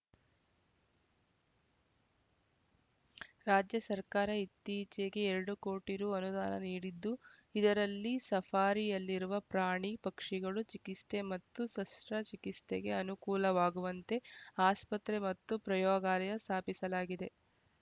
ರಾಜ್ಯ ಸರ್ಕಾರ ಇತ್ತೀಚೆಗೆ ಎರಡು ಕೋಟಿ ರು ಅನುದಾನ ನೀಡಿದ್ದು ಇದರಲ್ಲಿ ಸಫಾರಿಯಲ್ಲಿರುವ ಪ್ರಾಣಿ ಪಕ್ಷಿಗಳು ಚಿಕ್ಸಿತೆ ಮತ್ತು ಶಶ್ರ ಚಿಕಿತ್ಸೆಗೆ ಅನುಕೂಲವಾಗುವಂತೆ ಆಸ್ಪತ್ರೆ ಮತ್ತು ಪ್ರಯೋಗಾಲಯ ಸ್ಥಾಪಿಸಲಾಗಿದೆ